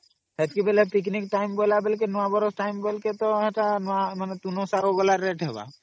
ହେଟିକି ବେଳେ ତା ପିକନିକ ବେଳା ତା ଯେ ତୁଣ ସାରା ସବୁ rate ହେବ